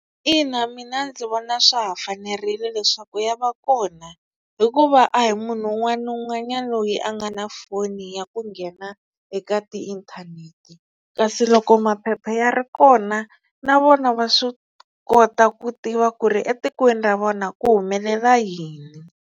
Ina mina ndzi vona swa ha fanerile leswaku ya va kona hikuva a hi munhu un'wana na un'wanyani loyi a nga na foni ya ku nghena eka tiinthanete kasi loko maphepha ya ri kona na vona va swi kota ku tiva ku ri etikweni ra vona ku humelela yini.